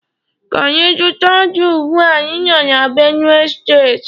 Ka anyi zuta ji ugbua anyi no na Benue state.